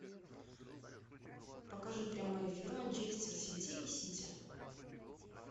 покажи прямой эфир манчестер сити и сити